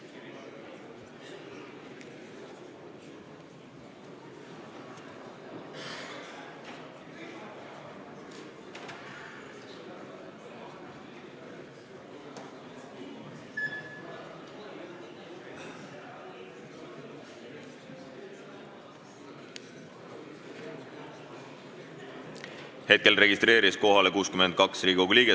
Kohaloleku kontroll Hetkel registreerus kohalolijaks 62 Riigikogu liiget.